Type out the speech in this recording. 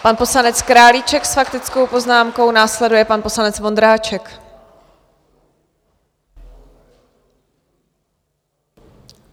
Pan poslanec Králíček s faktickou poznámkou, následuje pan poslanec Vondráček.